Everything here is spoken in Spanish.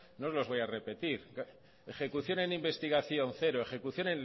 no los voy a repetir ejecución en investigación cero ejecución